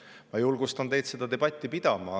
Ma julgustan teid seda debatti pidama.